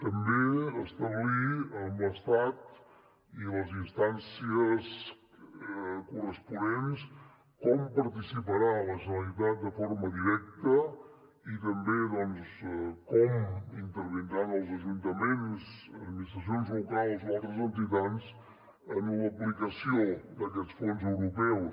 també establir amb l’estat i les instàncies corresponents com participarà la generalitat de forma directa i també doncs com intervindran els ajuntaments les administracions locals o altres entitats en l’aplicació d’aquests fons europeus